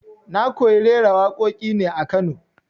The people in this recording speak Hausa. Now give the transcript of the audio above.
Na koyi raira waƙoƙin ne a Kano